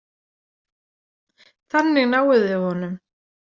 Þannig náið þið honum.